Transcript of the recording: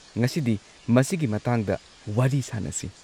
ꯉꯁꯤꯗꯤ ꯃꯁꯤꯒꯤ ꯃꯇꯥꯡꯗ ꯋꯥꯔꯤ ꯁꯥꯟꯅꯁꯤ ꯫